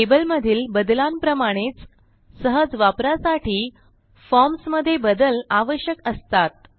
table मधील बदलांप्रमाणेच सहज वापरासाठी फॉर्म्स मधे बदल आवश्यक असतात